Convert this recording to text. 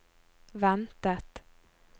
ventet